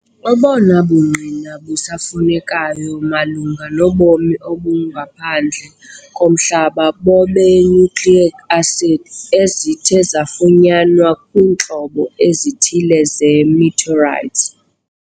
Obono bungqina busafunekayo malunga nobomi obungaphandle komhlaba bobee-nucleic acids ezithe zafunyanwa kwiintlobo ezithile ze-meteorites.